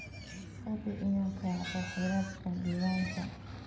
Hubi inaad raacdo xeerarka diiwaanka.